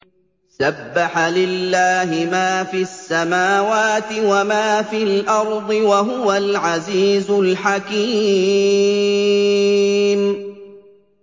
سَبَّحَ لِلَّهِ مَا فِي السَّمَاوَاتِ وَمَا فِي الْأَرْضِ ۖ وَهُوَ الْعَزِيزُ الْحَكِيمُ